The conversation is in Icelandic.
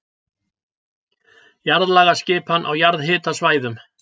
Jarðlagaskipan á jarðhitasvæðum